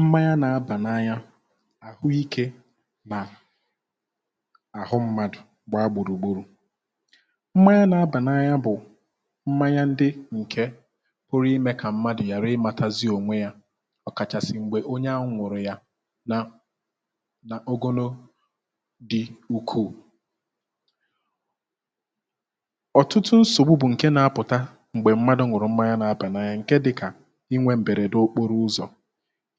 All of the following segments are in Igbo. mmanya nà-abà n’anya àhụikė nà àhụ mmadụ̀ gbaa gbùrùgburù, mmanya nà-abà n’anya bụ̀ mmanya ndị ǹkè pụrụ imė kà mmadụ̀ ghàra ịmȧtazị ònwe yȧ ọ̀kàchàsị̀ m̀gbè onye ahu ñụ̀rụ̀ ya na na ogono dị ukwuu ọ̀tụtụ nsògbu bụ̀ ǹke na-apụ̀ta m̀gbè mmadụ̀ ñuru mmanya na aba n'anya ǹkè dịkà inwė mberede n'okporo ụzọ,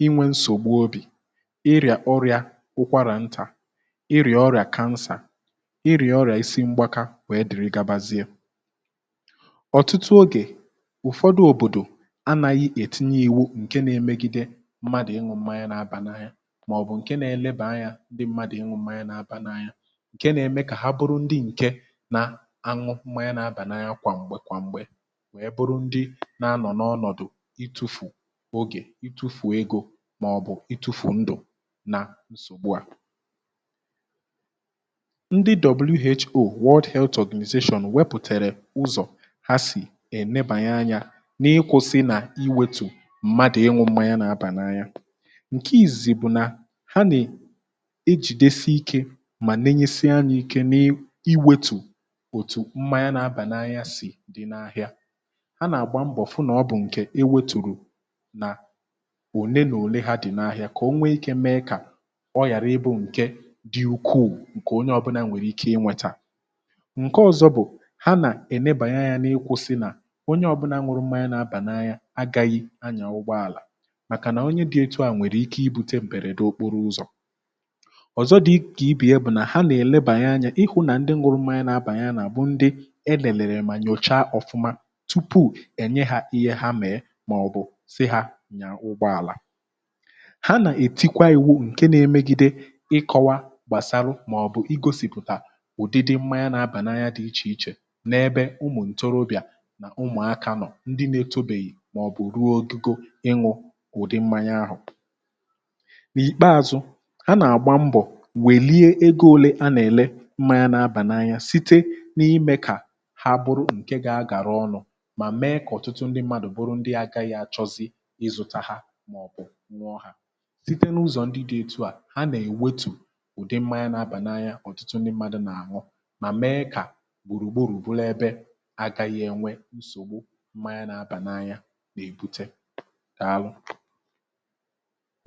inwe nsògbu obì, ịrị̀à ọrịȧ ụkwarà ntà, ịrị̀à ọrị̀à kansà, ịrị̀à ọrị̀à isi mgbakȧ wèe dere gabazie, ọ̀tụtụ ogè ụ̀fọdụ òbòdò anȧghị̇ ètinye ìwu ǹke na-emegide mmadụ̀ ịñụ̇ mmanya n' abà na anya màọ̀bụ̀ ǹke na-eleba anyȧ ndị mmadụ̀ ịñụ̇ mmanya na abà na anya ǹke na-eme kà ha bụrụ ndị ǹke na-añụ mmanya na abà na anya kwà m̀gbè kwà m̀gbè wèe bụrụ ndị na-anọ̀ n’ọnọ̀dụ̀ itufu oge, itufu ego màọ̀bụ̀ itu̇fù ndù na nsògbu à .ndị WHO world health organization wepụ̀tàrà ụzọ̀ ha sì èlebanye anyȧ n’ịkwụ̇sị nà iwetù mmadụ̀ ịnwụ̇ mmanya na-abà n’anya, ǹke ìzìzi bụ̀ nà ha ejìdesi ikė mà nenyesịa anya ike na-iwetù òtù mmanya na-abà n’anya sì dị n’ahịa ha nà àgba mbọ̀ fụ nà ọ bụ̀ ǹkè ewetùrù na ole n’ole ha dị̀ n’ahịa kà o nwee ike mee kà ọ ghàra ịbụ̇ ǹke dị̇ ukwuu ǹkè onye ọbụna nwèrè ike ịnwètà, ǹke ọzọ bụ̀ ha nà-ènebànye anyȧ n’ikwụ̇ sị nà onye ọbụna ñụrụ mmanya na-abà n'anya agaghi anyȧ ụgbọàlà màkà nà onye di etu à nwèrè ike ibu̇tė m̀bèrède okporo ụzọ̀, ọ̀zọ dị̇ kà ibe ya bụ̀ nà ha nà-èlebanye anyȧ ịhụ̇ nà ndị nwụrụ mmanya na-abànye á bụ̀ ndị e lèlèlè mà nyòcha ọfụma tupu enye hȧ ihe ha mee maọbu si ha nyaa ụgbọala, ha nà-ètikwa ìwu ǹke na-emegide ịkọwa gbàsalu màọ̀bụ̀ igosìpụ̀tà ụ̀dịdị mmanya nà-abànanya dị̀ ichè ichè n’ebe ụmụ̀ ǹtorobịà nà ụmụ̀akȧ nọ̀ ndị nȧ-etȯbèghì màọ̀bụ̀ ruo ogigo ịñụ̇ ụ̀dị mmanya ahụ̀, n'ikpeȧzụ, ha nà-àgba mbọ̀ wèlie ego ȯle a nà-èle mmanya nà-abà na anya site n’ime kà ha bụrụ ǹkè gà-agàra ọnụ̇ mà mee kà ọ̀tụtụ ndị mmadụ̀ bụrụ ndị agaghị̇ achọzi izuta ha maọbu ñuo ha, site n’ụzọ ndị dị etu à ha nà-èwetù ụ̀dị mmȧya na-abà n’anya ọ̀tụtụ ndị mmadụ̇ nà-àhọ mà mee kà gbùrùgburù buru ebe agȧghị̇ ènwe nsògbu mmȧya n’abà n’anya nà-èbute dàalụ